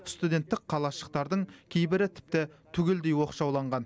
студенттік қалашықтардың кейбірі тіпті түгелдей оқшауланған